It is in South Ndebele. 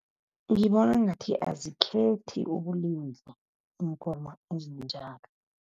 Ngibona ngathi azikhethi ubulili iinkomo ezinjalo.